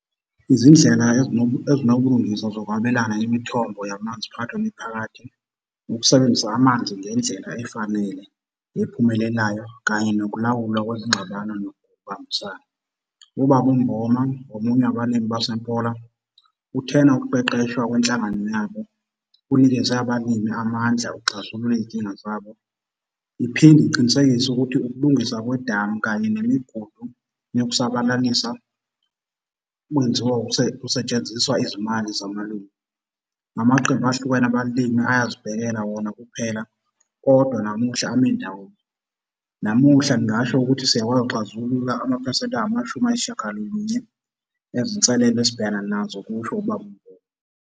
Izindlela ezinobulungiswa zokwabelana ngemithombo yamanzi phakathi kwemiphakathi, ukusebenzisa amanzi ngendlela efanele, ephumelelayo kanye nokulawulwa kwezingxabano nokubambisana. Ubaba uMboma ngomunye wabalimi baseMpola uthena, ukuqeqeshwa kwenhlangano yabo kunikeze abalimi amandla ukuxazulula iy'nkinga zabo, iphinde iqinisekise ukuthi ukulungiswa kwedamu kanye nemigudu yokusabalalisa kwenziwa kusetshenziswa izimali zamalunga. Namaqembu ahlukene abalimi ayazibhekela wona kuphela kodwa namuhla ame ndawonye. Namuhla ngingasho ukuthi siyakwazi ukuxazulula amaphesenti angamashumi ayisishagalolunye ezinselelo esibhekena nazo, kusho ubaba uMboma.